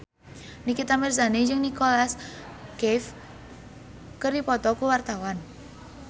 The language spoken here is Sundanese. Nikita Mirzani jeung Nicholas Cafe keur dipoto ku wartawan